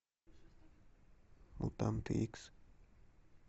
мутанты икс